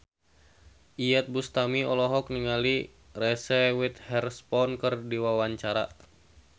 Iyeth Bustami olohok ningali Reese Witherspoon keur diwawancara